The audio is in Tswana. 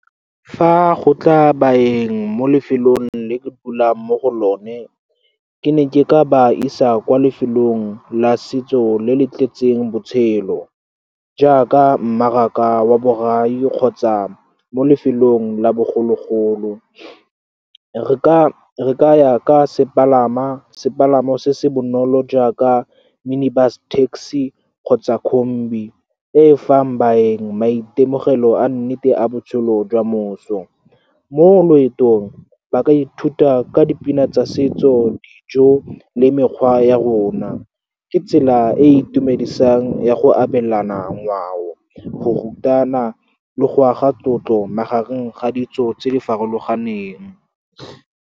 Fa go tla baeng mo lefelong le ke dulang mo go lone, ke ne ke ka ba isa kwa lefelong la setso le le tletseng botshelo, jaaka mmaraka wa borai kgotsa mo lefelong la bogologolo. Re ka ya ka sepalamo se se bonolo jaaka minibus taxi kgotsa kombi, e e fang baeng maitemogelo a nnete a botshelo jwa moso. Mo loetong, ba ka ithuta ka dipina tsa setso, dijo, le mekgwa ya rona. Ke tsela e e itumedisang ya go abelana ngwao, go rutana, le go aga tlotlo magareng ga ditso tse di farologaneng.